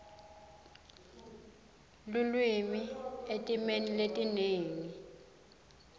lulwimi etimeni letinengi